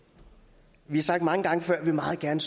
vi har sagt mange gange før at vi meget gerne